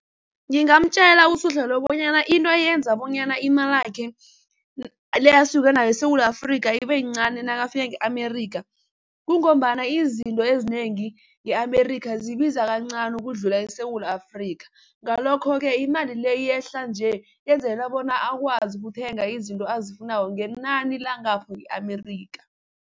Ngingamtjela uSuhla lo bonyana into eyenza bonyana imalakhe le asuke nayo eSewula Afrika ibeyincani nakafika nge-Amerika kungombana izinto ezinengi nge-Amerika zibiza kancani ukudlula eSewula Afrika, ngalokho-ke imali le yehlanje yenzela bona akwazi ukuthenga izinto azifunako ngenani langapho nge-Amerika.